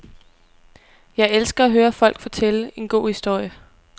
Jeg elsker at høre folk fortælle en god historie.